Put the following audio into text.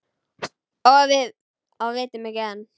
Og vitum ekki enn.